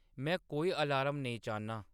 में कोई अलार्म नेईं चाह्न्नां